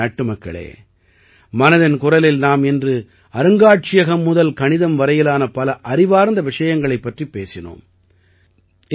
எனதருமை நாட்டுமக்களே மனதின் குரலில் நாம் இன்று அருங்காட்சியகம் முதல் கணிதம் வரையிலான பல அறிவார்ந்த விஷயங்களைப் பற்றிப் பேசினோம்